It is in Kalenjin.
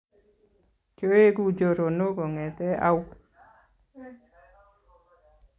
Kyoegu choronok kongeete au?